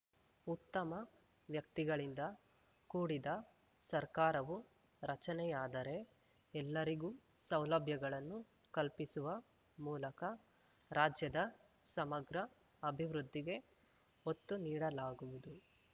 ಉತ್ತಮ ವ್ಯಕ್ತಿಗಳಿಂದ ಕೂಡಿದ ಸರ್ಕಾರವು ರಚನೆಯಾದರೇ ಎಲ್ಲರಿಗೂ ಸೌಲಭ್ಯಗಳನ್ನು ಕಲ್ಪಿಸುವ ಮೂಲಕ ರಾಜ್ಯದ ಸಮಗ್ರ ಅಭಿವೃದ್ಧಿಗೆ ಒತ್ತು ನೀಡಲಾಗುವುದು